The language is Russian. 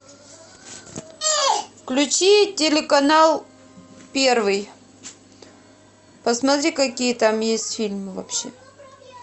включи телеканал первый посмотри какие там есть фильмы вообще